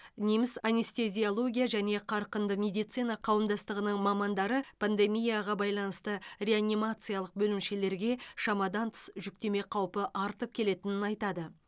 неміс анестезиология және қарқынды медицина қауымдастығының мамандары пандемияға байланысты реанимациялық бөлімшелерге шамадан тыс жүктеме қаупі артып келетінін айтады